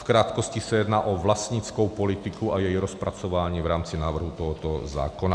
V krátkosti se jedná o vlastnickou politiku a její rozpracování v rámci návrhu tohoto zákona.